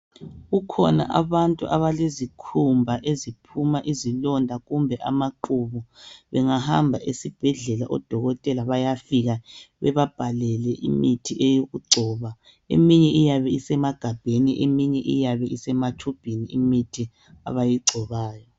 Kukhona abantu abalezikhumba eziphuma izilonda kumbe amaqubu. Bengahamba esibhedlela odokotela bayafika bebabhalele imithi yokugcoba. Eminye iyabe isemagabheni eminye isematshubhini.